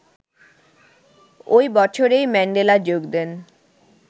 ওই বছরই ম্যান্ডেলা যোগ দেন